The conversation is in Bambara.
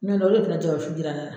I ɲɛ tɛ, o de nana jaaba fu jira ne na.